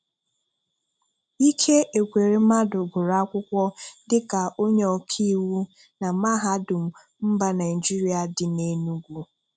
Ike Ekweremmadụ gụrụ akwụkwọ dịka onye ọkaiwu na mahadum mba Naịjirịa dị n'Enugwu